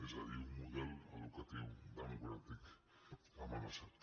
és a dir un model educatiu democràtic amenaçat